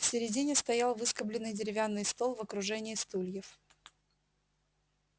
в середине стоял выскобленный деревянный стол в окружении стульев